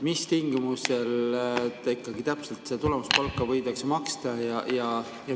Mis tingimustel ikkagi täpselt seda tulemuspalka võidakse maksta?